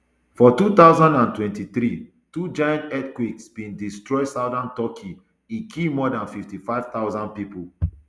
for two thousand and twenty-three two giant earthquakes bin destroy southern turkey e kill more dan fifty-five thousand pipo